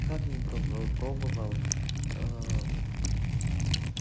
как не пробовал пробовал